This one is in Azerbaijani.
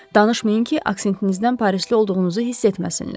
Danışmayın ki, aksentinizdən parisli olduğunuzu hiss etməsinlər.